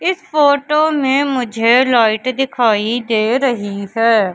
इस फोटो में मुझे लाइट दिखाई दे रही है।